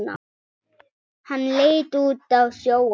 Hann leit út á sjóinn.